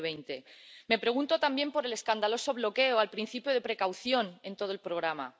2020. Me pregunto también por el escandaloso bloqueo al principio de precaución en todo el programa.